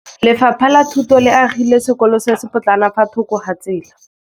Lefapha la Thuto le agile sekôlô se se pôtlana fa thoko ga tsela.